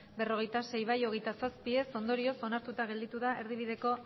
berrogeita sei ez hogeita zazpi ondorioz onartuta gelditu da erdibideko